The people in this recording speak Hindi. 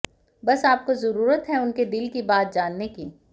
बस आपको जरूरत है उनके दिल की बात जानने की